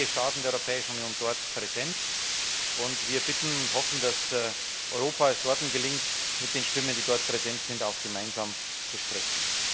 Es sind einige Staaten der Europäischen Union dort präsent, und wir bitten und hoffen, dass es Europa gelingt, mit den Stimmen, die dort präsent sind, auch gemeinsam zu sprechen.